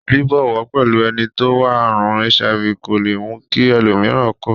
Bíbọwọ́ pẹ́lu eni to ni àrùn HIV kò le mú ki ẹlòmíràn ko